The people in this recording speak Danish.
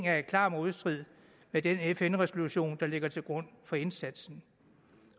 er i klar modstrid med den fn resolution der ligger til grund for indsatsen